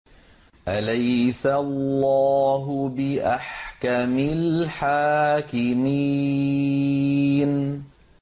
أَلَيْسَ اللَّهُ بِأَحْكَمِ الْحَاكِمِينَ